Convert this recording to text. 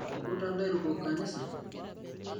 Keiputa lairukok nkanisa